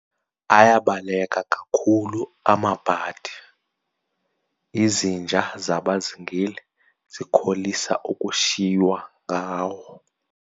Ayabaleka kakhulu amabhadi, izinja zabazingeli zikholisa ukushiywa ngawo.